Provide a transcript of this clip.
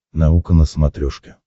наука на смотрешке